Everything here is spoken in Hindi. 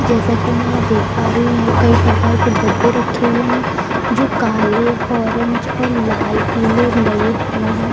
जैसा कि मैं यहाँ देख प रही हूँ यहाँ कई प्रकार के डब्बे रक्खे हुए हैं जो काले ऑरेंज और लाल पीले लगे हुए हैं।